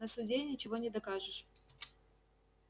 на суде ничего не докажешь